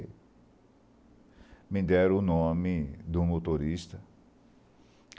me deram o nome do motorista.